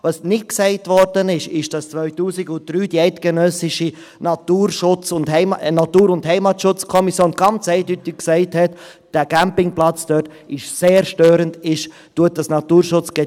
Was nicht gesagt wurde, ist, dass die Eidgenössische Natur- und Heimatschutzkommission (ENHK) 2003 ganz eindeutig gesagt hat, dieser Campingplatz sei sehr störend und beeinträchtige das Naturschutzgebiet.